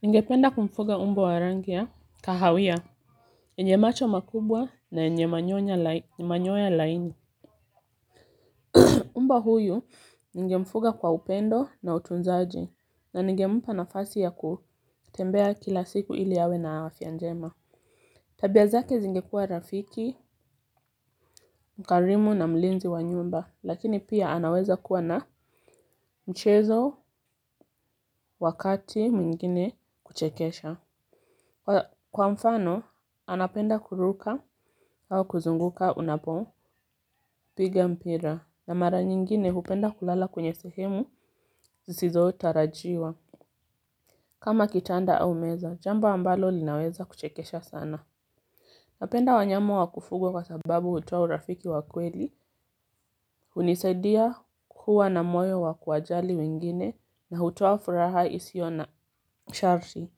Ninge penda kumfuga umbo wa rangi ya kahawia enye macho makubwa na yenye manyoya laini. Umbwa huyu ninge mfuga kwa upendo na utunzaji na ningempanafasi ya kutembea kila siku ili yawe na afyanjema. Tabia zake zingekua rafiki, mkarimu na mlinzi wa nyumba lakini pia anaweza kuwa na mchezo wakati mwingine kuchekesha. Kwa mfano, anapenda kuruka au kuzunguka unapo piga mpira na mara nyingine hupenda kulala kwenye sehemu zisizo utarajiwa. Kama kitanda au meza, jambo ambalo linaweza kuchekesha sana. Napenda wanyama wakufuga sababu hutoa urafiki wa kweli hulisaidia kuwa na moyo wa kuwajali wengine na hutoa furaha usio na sharti.